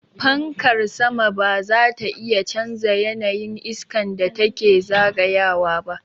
Fankar sama ba zata iya canza yanayin iskan da take zagayawa ba.